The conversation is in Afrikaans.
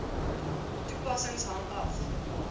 toepassing hang af